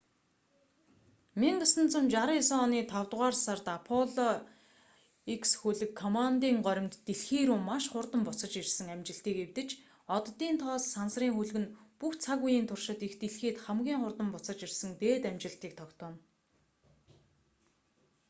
1969 оны тавдугаар сард аполло x хөлөг коммандын горимд дэлхий рүү маш хурдан буцаж ирсэн амжилтыг эвдэж оддын тоос сансрын хөлөг нь бүх цаг үеийн туршид эх дэлхийд хамгийн хурдан буцаж ирсэн дээд амжилтыг тогтооно